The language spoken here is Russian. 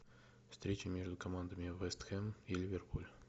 встреча между командами вест хэм и ливерпуль